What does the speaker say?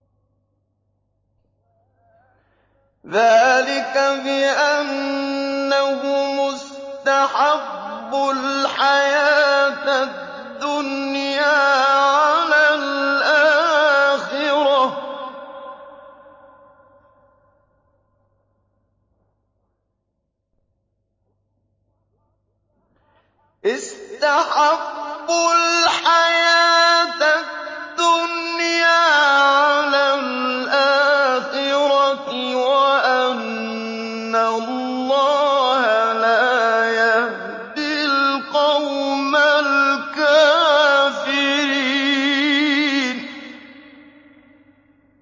ذَٰلِكَ بِأَنَّهُمُ اسْتَحَبُّوا الْحَيَاةَ الدُّنْيَا عَلَى الْآخِرَةِ وَأَنَّ اللَّهَ لَا يَهْدِي الْقَوْمَ الْكَافِرِينَ